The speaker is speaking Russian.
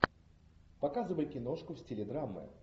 показывай киношку в стиле драмы